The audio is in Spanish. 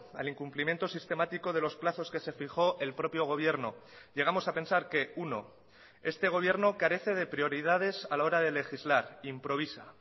al incumplimiento sistemático de los plazos que se fijó el propio gobierno llegamos a pensar que uno este gobierno carece de prioridades a la hora de legislar improvisa